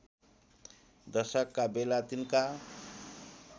दशकका बेला तिनका